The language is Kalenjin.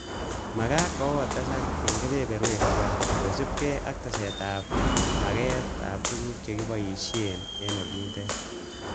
Mageet kokotesak en keberwek tuan, kosiibge ak tesetab maaget ab tuguk che kiboishien olindet.